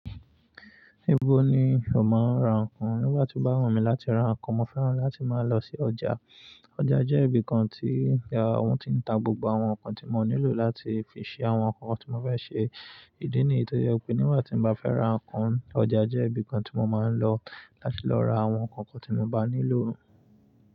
Ibo ni o máa ń ra nǹkan? Nígbà tí bá wù mí láti ra nǹkan, mo fẹ́ràn láti máa lọ sí ọjà. Ọjà jẹ́ ibi kan tí wọ́n ti ń tà gbogbo àwọn nǹkan tí mo nílò láti fi ṣe àwọn nǹkan tí mo fẹ́ ṣe. Ìdí nìyí tó jẹ́ pé nígbà tí mo bá fẹ́ ra nǹkan, ọjà jẹ́ ibi kan tí mo máa ń lọ láti lọ ra àwọn nǹkan tí mo bá nílò.